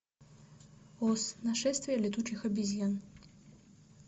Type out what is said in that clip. оз нашествие летучих обезьян